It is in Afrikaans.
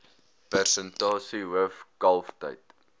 persentasie hoof kalftyd